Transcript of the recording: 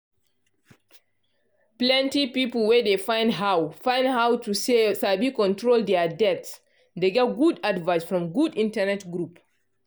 plenty people wey dey find how find how to sabi control dia debt dey get good advice from good internet group